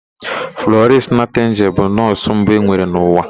Flọrịnsị Naịtịngel bụ nọọsụ mbụ enwere n'ụwa.